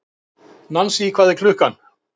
Nansý, hvað er klukkan?